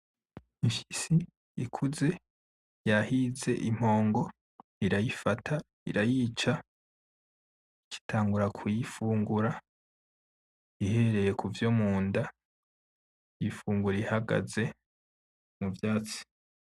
Ipyisi ikuze yahize impongo irayifata irayica ica itangura kuyifungura ihere kuvyo munda iyifungura ihagaze mu vyatsi.